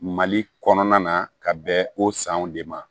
Mali kɔnɔna na ka bɛn o sanw de ma